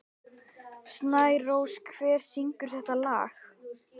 Snærós, hver syngur þetta lag?